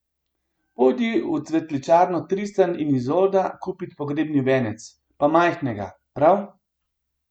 Pojdi v cvetličarno Tristan in Izolda kupit pogrebni venec, pa majhnega, prav!